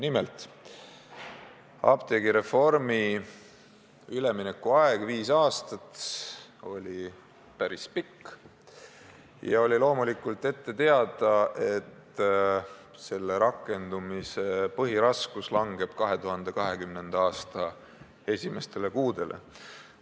Nimelt, apteegireformi üleminekuaeg viis aastat oli päris pikk ja oli loomulikult ette teada, et selle rakendumise põhiraskus langeb 2020. aasta esimestele kuudele.